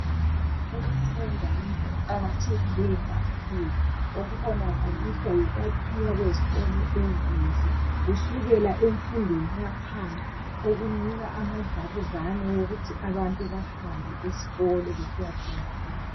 Ukufunda yinto eqakethileyo kakhulu okubonakaliswa yikwakhiwa kwezikolo ezinhle kusukela emfundweni yaphansi okunika amadlabuzane okuthi abantu bahambe esikolo besiyafunda.